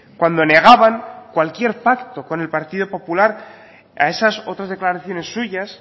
cuando negaban cualquier pacto con el partido popular a esas otras declaraciones suyas